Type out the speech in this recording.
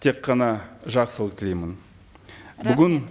тек қана жақсылық тілеймін бүгін